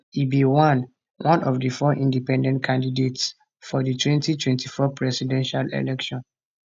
e be one one of di four independent candidates for di 2024 presidential election